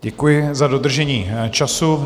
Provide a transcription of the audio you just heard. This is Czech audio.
Děkuji za dodržení času.